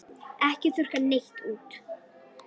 Ekki þurrka neitt út.